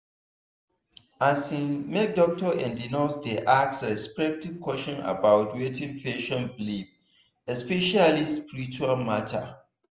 asin make doctor and nurse dey ask respectful question about wetin patient believe especially spiritual matter.